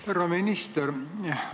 Härra minister!